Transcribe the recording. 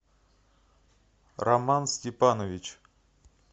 роман степанович